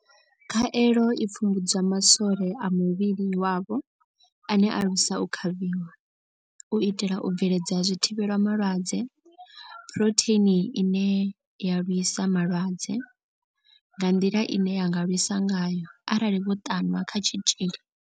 Khaelo i pfumbudza ma swole a muvhili wavho ane a lwisa u kavhiwa, u itela u bveledza zwithivhelama lwadze Phurotheini ine ya lwisa vhulwadze nga nḓila ine ya nga lwisa ngayo arali vho ṱanwa kha tshitzhili.